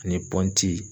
Ani pɔnti